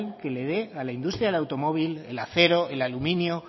que le dé a la industria del automóvil el acero el aluminio